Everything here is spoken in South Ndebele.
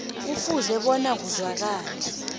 kufuze bona kuzwakale